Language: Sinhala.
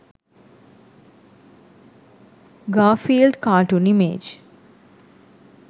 garfield cartoon image